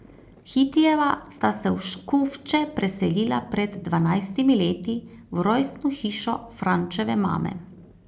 Hitijeva sta se v Škufče preselila pred dvanajstimi leti, v rojstno hišo Frančeve mame.